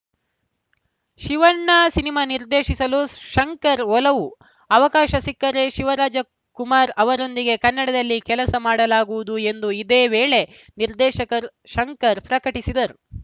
Shivanna cinema ನಿರ್ದೇಶಿಸಲು ಶಂಕರ್‌ ಒಲವು ಅವಕಾಶ ಸಿಕ್ಕರೆ ಶಿವರಾಜಕುಮಾರ್‌ ಅವರೊಂದಿಗೆ ಕನ್ನಡದಲ್ಲಿ ಕೆಲಸ ಮಾಡಲಾಗುವುದು ಎಂದು ಇದೇ ವೇಳೆ ನಿರ್ದೇಶಕರ್ ಶಂಕರ್‌ ಪ್ರಕಟಿಸಿದರು